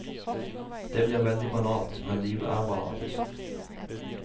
Det blir veldig banalt, men livet er banalt.